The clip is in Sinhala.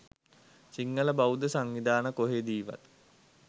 සිංහල බෞද්ධ සංවිධාන කොහෙදීවත්